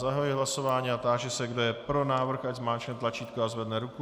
Zahajuji hlasování a táži se, kdo je pro návrh, ať zmáčkne tlačítko a zvedne ruku.